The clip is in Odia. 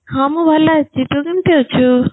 ହଁ ମୁଁ ଭଲ ଅଛି, ତୁ କେମତି ଅଛୁ?